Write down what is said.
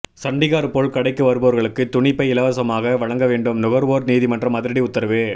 சண்டீகார் போல் கடைக்கு வருபவர்களுக்கு துணி பை இலசமாக வழங்க வேண்டும் நுகர்வோர் நீதிமன்றம் அதிரடி உத்தரவு